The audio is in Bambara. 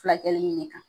Fulakɛli nin de kan